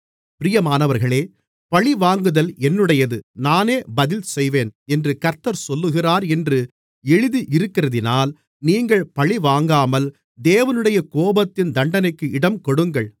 பிரியமானவர்களே பழிவாங்குதல் என்னுடையது நானே பதில்செய்வேன் என்று கர்த்தர் சொல்லுகிறார் என்று எழுதி இருக்கிறதினால் நீங்கள் பழிவாங்காமல் தேவனுடைய கோபத்தின் தண்டனைக்கு இடம்கொடுங்கள்